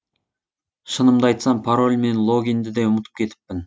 шынымды айтсам пароль мен логинді де ұмытып кетіппін